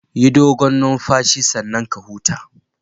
Yi dogon numfashi sannan ka huta